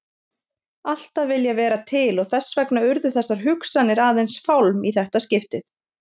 Alltaf viljað vera til og þess vegna urðu þessar hugsanir aðeins fálm í þetta skiptið.